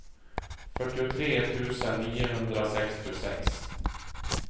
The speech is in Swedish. fyrtiotre tusen niohundrasextiosex